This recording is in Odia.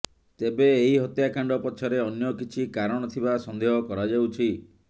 ତେବେ ଏହି ହତ୍ୟାକାଣ୍ଡ ପଛରେ ଅନ୍ୟ କିଛି କାରଣ ଥିବା ସନ୍ଦେହ କରାଯାଉଛି